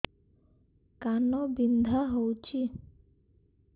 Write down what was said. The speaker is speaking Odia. କାନ ବିନ୍ଧା ହଉଛି